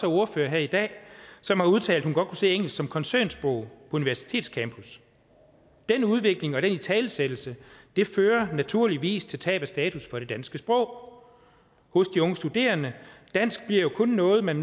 ordfører her i dag som udtalte at kunne se engelsk som koncernsprog universitetscampus den udvikling og den italesættelse fører naturligvis til et tab af status for det danske sprog hos de unge studerende dansk bliver jo kun noget man